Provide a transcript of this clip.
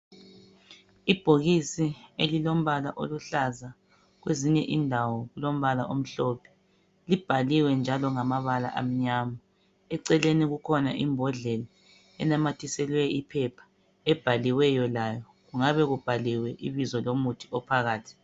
Ibhokisi elilombala oluhlaza kwezinye indawo lilombala omhlophe libhaliwe njalo ngamabala amnyama. Eceleni kukhona imbodlela enamathiselwe iphepha ebhaliweyo layo. Kungabe kubhaliwe ibizo lomuthi ophakathi.